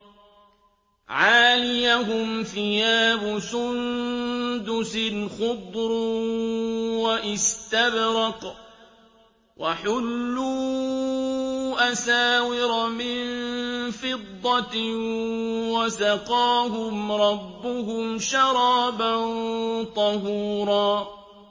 عَالِيَهُمْ ثِيَابُ سُندُسٍ خُضْرٌ وَإِسْتَبْرَقٌ ۖ وَحُلُّوا أَسَاوِرَ مِن فِضَّةٍ وَسَقَاهُمْ رَبُّهُمْ شَرَابًا طَهُورًا